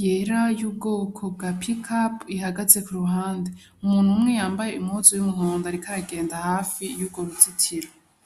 yera y'ubwoko bwa pikapu ihagaze ku ruhande umuntu umwe yambaye impuzu y'umuhondo ariko aragenda hafi y'urwo ruzitiro.